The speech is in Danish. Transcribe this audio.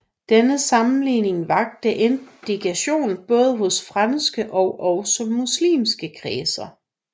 Denne sammenligning vakte indignation både hos franske og også muslimske kredser